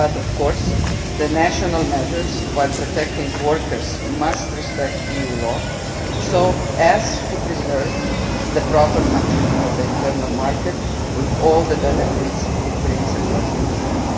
But of course the national measures, while protecting workers, must respect EU law so as to preserve the proper functioning of the internal market with all the benefits it brings across Europe.